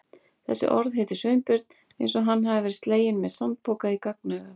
Þessi orð hittu Sveinbjörn eins og hann hefði verið sleginn með sandpoka í gagnaugað.